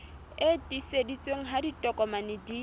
e tiiseditsweng ha ditokomane di